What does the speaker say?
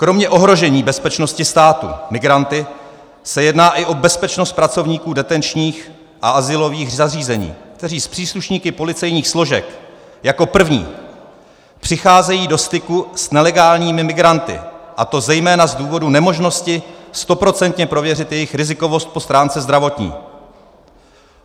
Kromě ohrožení bezpečnosti státu migranty se jedná i o bezpečnost pracovníků detenčních a azylových zařízení, kteří s příslušníky policejních složek jako první přicházejí do styku s nelegálními migranty, a to zejména z důvodu nemožnosti stoprocentně prověřit jejich rizikovost po stránce zdravotní.